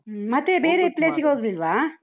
Place ಗೆ ಹೋಗ್ಲಿಲ್ವಾ?